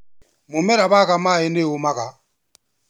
Mũmera waga maaĩ nĩ ũmaga.